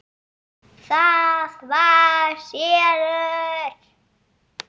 ÞAÐ VAR SELUR!